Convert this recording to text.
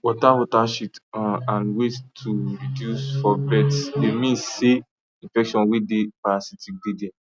water water shit um and weight to reduce for birds dey means say infections way dey parasitic dey there